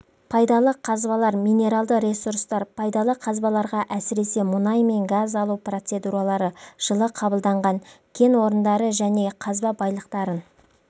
пайдалы қазбалар минералды ресурстар пайдалы қазбаларға әсіресе мұнай мен газ алу процедуралары жылы қабылданған кен орындары және қазба байлықтарын